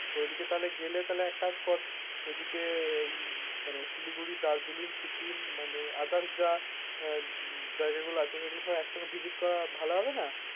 ওইদিকে তাহলে গেলে এক কাজ কর ওই দিকে মানে শিলিগুড়ি দার্জিলিং সিকিম মানে others যা জায়গাগুলো আছে সেগুলো একসাথে visit করা ভালো হবে না